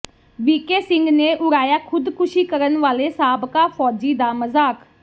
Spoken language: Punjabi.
ਵੀ ਕੇ ਸਿੰਘ ਨੇ ਉੜਾਇਆ ਖੁਦਕੁਸ਼ੀ ਕਰਨ ਵਾਲੇ ਸਾਬਕਾ ਫੌਜੀ ਦਾ ਮਜ਼ਾਕ